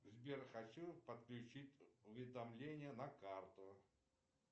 сбер хочу подключить уведомления на карту